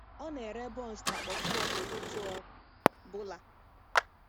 Ọ na-ere buns na puff-puff ụtụtụ ọ bụla.